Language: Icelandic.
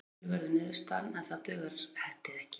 Jafntefli verður niðurstaðan en það dugar Hetti ekki.